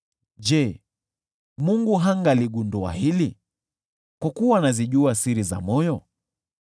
je, Mungu hangaligundua hili, kwa kuwa anazijua siri za moyo?